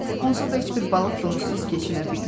Onsuz da heç bir balıq donuzsuz keçinə bilmir.